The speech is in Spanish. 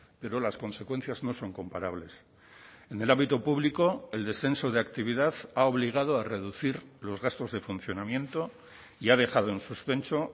pero las consecuencias no son comparables en el ámbito público el descenso de actividad ha obligado a reducir los gastos de funcionamiento y ha dejado en suspenso